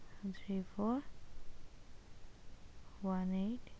Three four one eight